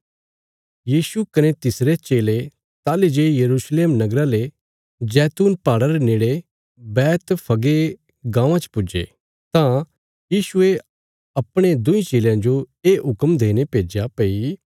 यीशु कने तिसरे चेले ताहली जे यरूशलेम नगरा रे नेड़े पुज्जे कने जैतून पहाड़ा पर बैतफगे गाँवां च पुज्जे तां यीशुये अपणे दुईं चेलयां जो ये हुक्म देईने भेज्या भई